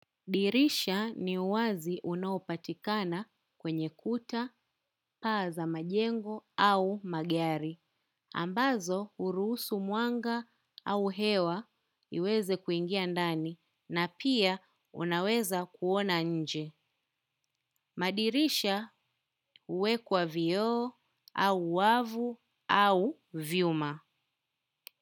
Dirisha ni uwazi unaopatikana kwenye kuta paa za majengo au magari. Ambazo urusu mwanga au hewa iweze kuingia ndani na pia unaweza kuona nje. Madirisha uwekwa vioo au wavu au vyuma.